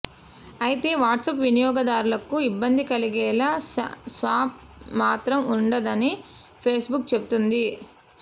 అయితే వాట్సాప్ వినియోగదార్లకు ఇబ్బంది కలిగేలా స్పామ్ మాత్రం ఉండదని ఫేస్ బుక్ చెబుతోంది